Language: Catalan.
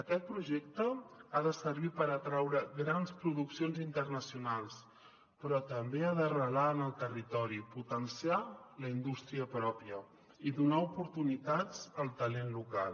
aquest projecte ha de servir per atraure grans produccions internacionals però també ha d’arrelar en el territori potenciar la indústria pròpia i donar oportunitats al talent local